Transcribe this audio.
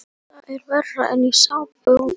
Þetta er verra en í sápuóperum.